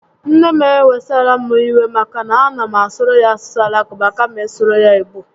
Nne m n'ewesara m iwe maka na a na m asụrụ ya asụsụ Alakụba kama ị sụrụ ya Igbo